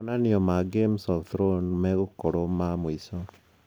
Monannia ma Game of Thrones megũkorwo ma mwiso